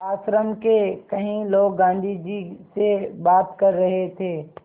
आश्रम के कई लोग गाँधी जी से बात कर रहे थे